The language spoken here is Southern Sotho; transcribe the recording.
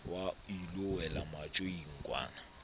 wa ilo wela matjoing kwana